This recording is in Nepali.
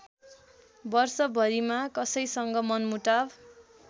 वर्षभरिमा कसैसँग मनमुटाव